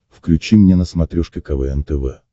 включи мне на смотрешке квн тв